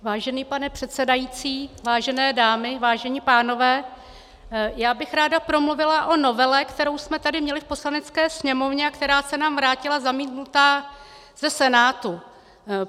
Vážený pane předsedající, vážené dámy, vážení pánové, já bych ráda promluvila o novele, kterou jsme tady měli v Poslanecké sněmovně a která se nám vrátila zamítnutá ze Senátu.